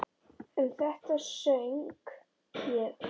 Um þetta söng ég: